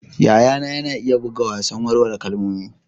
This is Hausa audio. Yayana na iya buga wasan warware kalmomi.